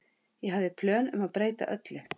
Ég hafði plön um að breyta öllu.